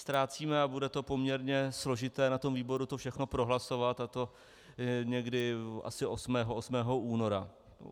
Ztrácíme, a bude to poměrně složité na tom výboru to všechno prohlasovat, a to někdy asi 8. února.